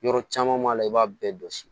Yɔrɔ caman b'a la i b'a bɛɛ dɔsi